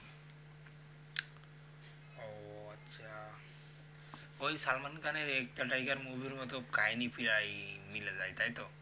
ওই salman khan এর ek tha tiger movie এর মতো কাহিনি প্রায় মিলে যাই তাই তো